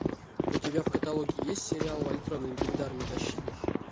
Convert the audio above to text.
у тебя в каталоге есть сериал вальтрон легендарный защитник